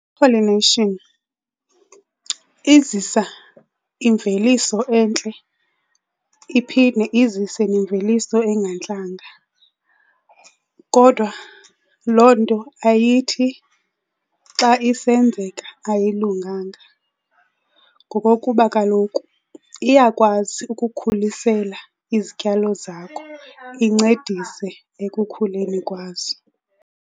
I-pollination izisa imveliso entle iphinde izise nemveliso engantlanga. Kodwa loo nto ayithi xa isenzeka ayilunganga ngokokuba kaloku iyakwazi ukukhulisela izityalo zakho incedise ekukhuleni kwazo.